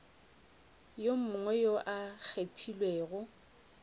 yo mongwe yo a kgethilwego